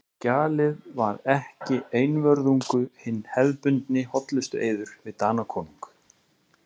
Skjalið var ekki einvörðungu hinn hefðbundni hollustueiður við Danakonung.